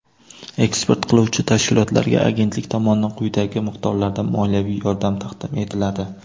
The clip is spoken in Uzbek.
eksport qiluvchi tashkilotlarga Agentlik tomonidan quyidagi miqdorlarda moliyaviy yordam taqdim etiladi:.